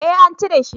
Eh an cire shi